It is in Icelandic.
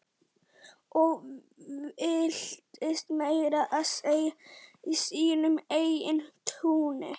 Og villtist meira að segja í sínu eigin túni.